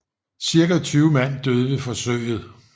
Cirka 20 mand døde ved forsøget